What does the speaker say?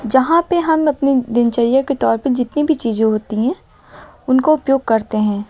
यहां पे हम अपनी दिनचर्या के तौर पर जितनी भी चीजें होती हैं उनको उपयोग करते हैं।